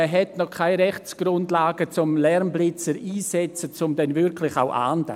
Man hat noch keine Rechtsgrundlagen, um Lärmblitzer einzusetzen und dann wirklich auch zu ahnden.